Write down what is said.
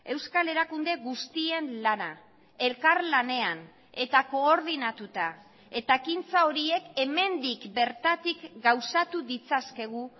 euskal erakunde guztien lana elkarlanean eta koordinatuta eta ekintza horiek hemendik bertatik gauzatu ditzakegu